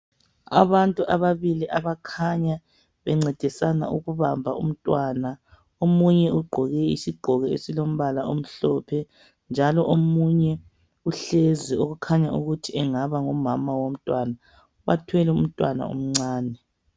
Abantu ababili abakhanya bencedisana ukubamba umntwana. Omunye ugqoke isigqoko esilombala omhlophe njalo omunye uhlezi okukhanya ukuthi engaba ngumama womntwana. Bathwele umntwana omncane.